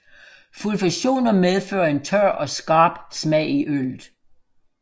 Sulfationer medfører en tør og skarp smag i øllet